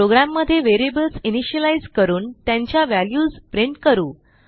प्रोग्रॅममध्ये variables initialise करून त्यांच्या व्हॅल्यूज प्रिंट करू